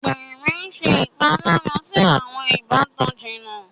Àgbèrè ṣe ìpalára sì awọn ìbátan jìnnà.